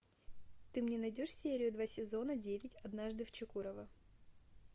ты мне найдешь серию два сезона девять однажды в чекурово